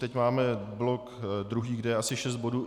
Teď máme blok druhý, kde je asi šest bodů.